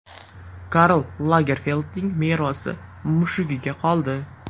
Karl Lagerfeldning merosi mushugiga qoldi.